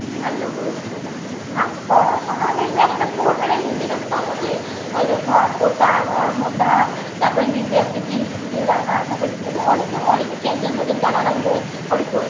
ভালো করেছো ভালো পড়াশোনা দেখবে একটা করবেনা নিজের একটা মনেহয় একটা ভদ্রতা মর্মটা তারপর নিজের একটা guilty feel লাগা তারপর এই যে অনেকে অনেকে কেজরার মতোন গালাগালি দেয় অনেকে